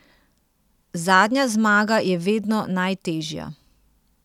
Zadnja zmaga je vedno najtežja.